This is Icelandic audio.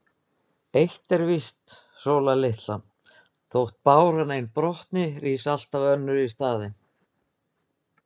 En eitt er víst, Sóla litla: Þótt ein báran brotni, rís alltaf önnur í staðinn.